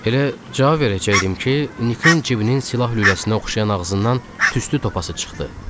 Elə cavab verəcəkdim ki, Nikin cibinin silah lüləsinə oxşayan ağzından tüstü topası çıxdı.